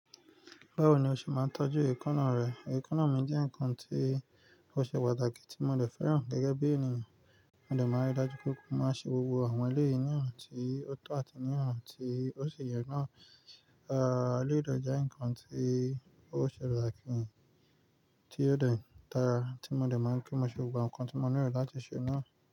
Báwo ni o ṣe máa ń tọ́jú èkóná rẹ? Èkóná mi jẹ́ ǹkan tí ó ṣe pàtàkì tí mo lè fẹ́ràn gẹ́gẹ́ bí ènìyàn. Mo lè máa rí i dájú pé òun má ṣe gbogbo àwọn eléyìí náà tí ó tọ́ àti náà tí ó ṣe yẹ náà. Àá, elèyi de je ǹkan tí ó ṣe pàtàkì tí ó de dara tí mo dè máa ń ri pe mo ṣe gbogbo àwon ǹkan tí mo nílò láti ṣe náà.